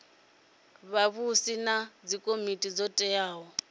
vhavhusi na dzikomiti dzo teaho